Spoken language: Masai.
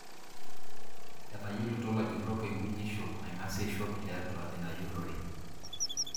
Etayiolito lajurok enkunyisho naingaseisho tiatua inajurore.